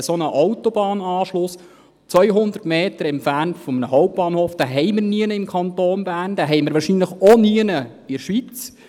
Einen solchen Autobahnanschluss, 200 Meter entfernt vom Hauptbahnhof, gibt es sonst nirgends im Kanton Bern, wahrscheinlich auch sonst nirgends in der Schweiz.